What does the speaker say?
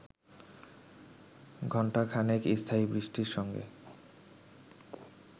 ঘণ্টাখানেক স্থায়ী বৃষ্টির সঙ্গে